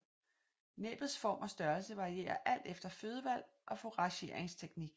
Næbbets form og størrelse varierer alt efter fødevalg og fourageringsteknik